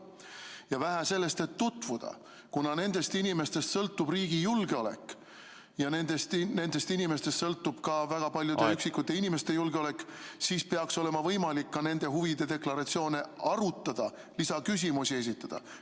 Ja vähe sellest, et tutvuda – kuna nendest inimestest sõltub riigi julgeolek ja nendest inimestest sõltub ka väga paljude üksikisikute julgeolek, siis peaks olema võimalik nende huvide deklaratsioone ka arutada, nende kohta lisaküsimusi esitada.